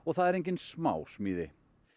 það er engin smásmíði